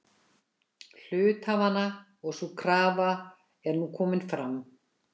hluthafanna og sú krafa er nú komin fram.